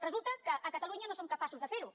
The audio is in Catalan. resulta que a catalunya no som capaços de fer ho